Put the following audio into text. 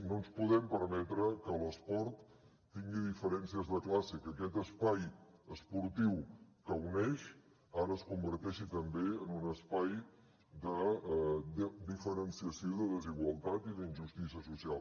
no ens podem permetre que l’esport tingui diferències de classe i que aquest espai esportiu que uneix ara es converteixi també en un espai de diferenciació de desigualtat i d’injustícia social